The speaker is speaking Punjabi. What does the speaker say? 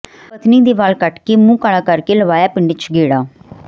ਪਤਨੀ ਦੇ ਵਾਲ ਕੱਟਕੇ ਮੂੰਹ ਕਾਲਾ ਕਰਕੇ ਲਵਾਇਆ ਪਿੰਡ ਚ ਗੇੜਾ